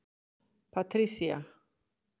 Patricia